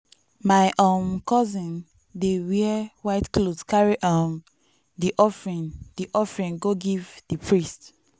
my um cousin dey wear white cloth carry um di offering di offering go give di priest.